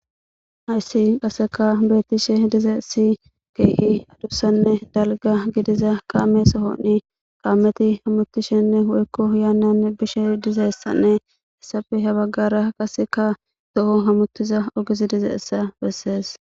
Ayssi qasseka beettishe diza si keei adussanne dalga gidiza kaame sohoni qaameti hammutishenne hoykko yaannan bishe dizeyssanne issafi ha baggara qaseka do7o hammuttiza ogizi dize essa bessees.